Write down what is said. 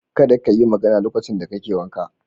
Kada ka yi magana lokacin da kake wanka.